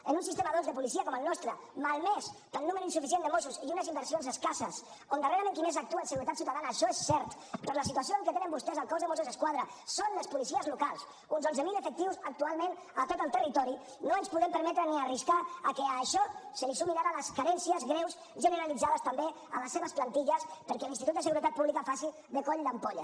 en un sistema doncs de policia com el nostre malmès pel número insuficient de mossos i unes inversions escasses on darrerament qui més actua en seguretat ciutadana això és cert per la situació en què tenen vostès el cos de mossos d’esquadra són les policies locals uns onze mil efectius actualment a tot el territori no ens podem permetre ni arriscar a que a això se li sumin ara les carències greus generalitzades també a les seves plantilles perquè l’institut de seguretat pública faci de coll d’ampolla